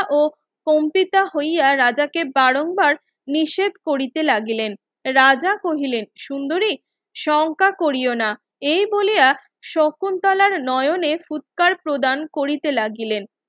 ও কোনকিটা হইয়া রাজাকে বারং বার নিষেদ করিতে লাগিলেন রাজা কহিলেন সুন্দরী সংখ্যা কোরীয় না এই বলিয়া শকুন্তলার নয়নে ফুৎকার প্রদান করিতে লাগিলেন